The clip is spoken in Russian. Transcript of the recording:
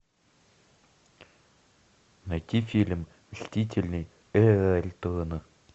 найти фильм мстители эра альтрона